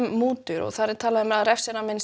mútur og þar er refsiramminn